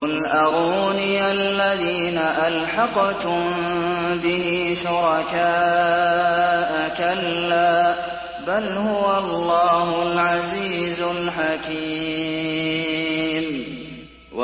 قُلْ أَرُونِيَ الَّذِينَ أَلْحَقْتُم بِهِ شُرَكَاءَ ۖ كَلَّا ۚ بَلْ هُوَ اللَّهُ الْعَزِيزُ الْحَكِيمُ